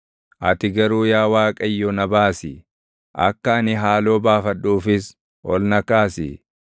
Ati garuu yaa Waaqayyo na baasi; akka ani haaloo baafadhuufis ol na kaasi.